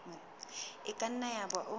e ka nna yaba o